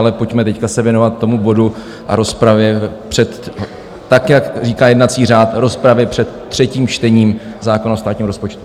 Ale pojďme teď se věnovat tomu bodu a rozpravě před - tak, jak říká jednací řád - rozpravě před třetím čtením zákona o státním rozpočtu.